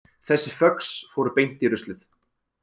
Þessi föx fóru beint í ruslið